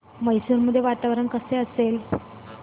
मैसूर मध्ये वातावरण कसे असेल